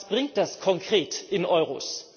Was bringt das konkret in Euro?